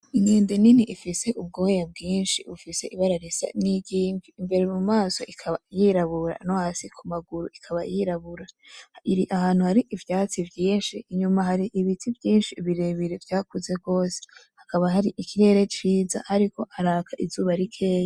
Inkende nini ifise ubwoya bwinshi, ifise ibara risa n'iry'invi, imbere mu maso ikaba yirabura no hasi ku maguru ikaba yirabura. Iri ahantu hari ivyatsi vyinshi, inyuma hari ibiti vyinshi bire bire vyakuze gose. Hakaba hari ikirere ciza hariko haraka izuba rikenya.